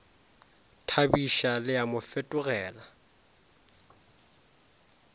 thabiša le a mo fetogela